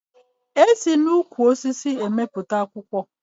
E si n'ukwu osisi emepụta akwụkwọ